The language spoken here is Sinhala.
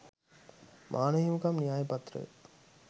මානව හිමිකම් න්‍යාය පත්‍රය